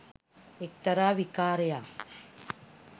එක්තරා විකාරයක්.